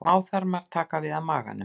Smáþarmar taka við af maganum.